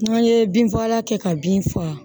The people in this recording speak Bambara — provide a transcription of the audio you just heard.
N'an ye bin fagala kɛ ka bin faga